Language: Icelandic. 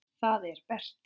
Það er Berti.